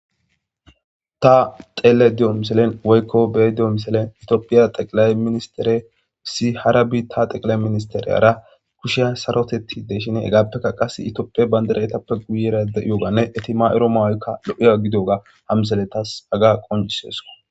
Ta xele de'o miselen woykko bee dio miselen itioophiya xeqilay ministere si harabi ta xeqilay ministeriyara kushiya sarotetti de shin hegaappekka qas itiopie bayndiraetappe guyera de'iyoganne etima'ero mawoykka lo'iya gidoga hamsele tas aga qoncisesko